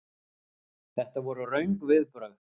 Þetta voru röng viðbrögð.